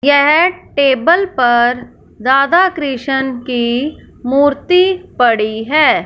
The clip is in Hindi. यह टेबल पर राधा क्रिसन की मूर्ति पड़ी है।